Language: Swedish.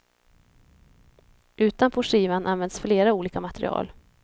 Utanpå skivan används flera olika material.